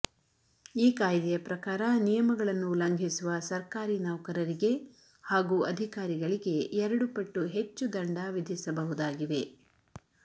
ಈ ಕಾಯ್ದೆಯ ಪ್ರಕಾರ ನಿಯಮಗಳನ್ನು ಉಲ್ಲಂಘಿಸುವ ಸರ್ಕಾರಿ ನೌಕರರಿಗೆ ಹಾಗೂ ಅಧಿಕಾರಿಗಳಿಗೆ ಎರಡು ಪಟ್ಟು ಹೆಚ್ಚು ದಂಡ ವಿಧಿಸ ಬಹುದಾಗಿವೆ